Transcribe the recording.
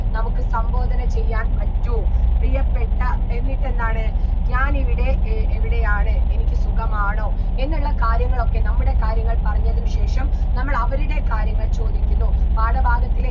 നമുക്ക് സംബോധന ചെയ്യാൻ പറ്റൂ പ്രിയപ്പെട്ട എന്നിട്ടെന്താണ് ഞാനിവിടെ ഏർ എവിടെയാണ് എനിക്ക് സുഖമാണോ എന്നുള്ള കാര്യങ്ങളൊക്കെ നമ്മുടെ കാര്യങ്ങൾ പറഞ്ഞതിന് ശേഷം നമ്മൾ അവരുടെ കാര്യങ്ങൾ ചോദിക്കുന്നു പാഠഭാഗത്തിലെ